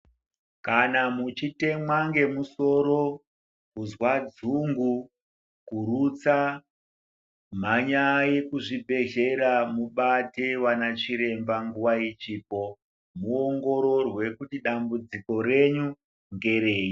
Kana muchitemwa ngemusoro, kuzwa dzungu, kurutsa. Mhanyai kuzvibhedhlera mubate vana chiremba nguva ichipo muongororwe kuti dambudziko renyu ngerei.